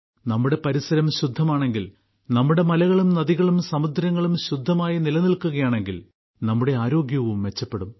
നമ്മുടെ പരിസരം ശുദ്ധമാണെങ്കിൽ നമ്മുടെ മലകളും നദികളും സമുദ്രങ്ങളും ശുദ്ധമായി നിലനിൽക്കുകയാണെങ്കിൽ നമ്മുടെ ആരോഗ്യവും മെച്ചപ്പെടും